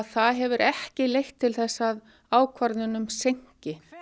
það hefur ekki leitt til þess að ákvörðunum seinki